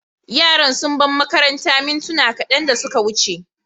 Yaran sun bar makarantar mintuna kadan da suka wuce.